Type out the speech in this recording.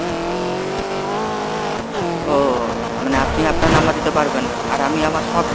ও মানে আপনি আপনার number দিতে পারবেন না আর আমি আমার সব details